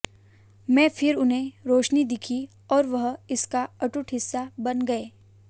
में फिर उन्हें रोशनी दिखी और वह इसका अटूट हिस्सा बन गए